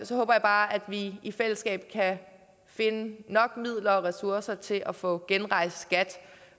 så håber jeg bare at vi i fællesskab kan finde nok midler og ressourcer til at få genrejst skat